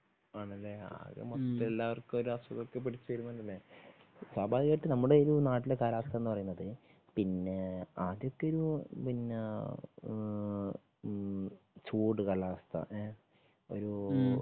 ആണല്ലേ? ആകെ മൊത്തം എല്ലാവർക്കും ഒരു അസുഖം ഒക്കെ പിടിച്ചു കണ്ടില്ലേ സ്വാഭാവികമായിട്ട് നമ്മുടെ ഇതില് നാട്ടിലെ കാലാവസ്ഥ എന്ന് പറയുന്നത് പിന്നെ ആദ്യത്തെ ഒരു പിന്നാ ചൂട് കാലാവസ്ഥ ങേ ഒരു